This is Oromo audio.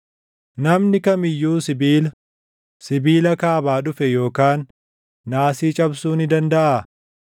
“Namni kam iyyuu sibiila, sibiila kaabaa dhufe yookaan naasii cabsuu ni dandaʼaa?